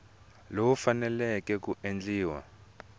lowu wu faneleke ku endliwa